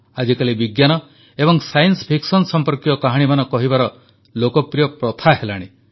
ଆଜିକାଲି ବିଜ୍ଞାନ ଏବଂ ସାଇନ୍ସ ଫିକ୍ସନ୍ ସମ୍ପର୍କୀୟ କାହାଣୀମାନ କହିବାର ପ୍ରଥା ଲୋକପ୍ରିୟ ହେଲାଣି